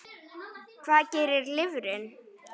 Hvað gerir lifrin?